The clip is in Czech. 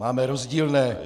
Máme rozdílné.